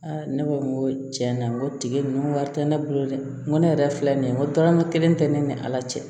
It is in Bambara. ne ko n ko tiɲɛ na n ko tigi ninnu wari tɛ ne bolo dɛ n ko ne yɛrɛ filɛ nin ye n ko tɔrɔma kelen tɛ ne ni ala cɛ